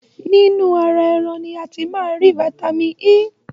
Nínu ọ̀rá ẹran ni a ti máá́ ń ri Vitamin E.